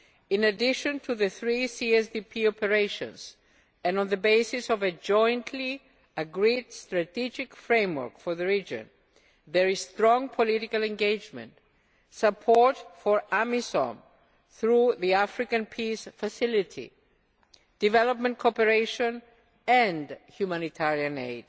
In addition to the three CSP operations and on the basis of a jointly agreed strategic framework for the region, there is strong political engagement, support for AMISOM through the African Peace Facility, development cooperation and humanitarian aid.